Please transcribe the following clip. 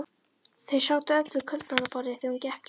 Þau sátu öll við kvöldmatarborðið þegar hún gekk inn.